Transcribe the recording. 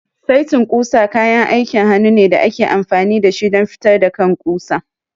Saitin ƙusa kayan aikin hannu ne da ake amfani da shi don fitar da kan ƙusa.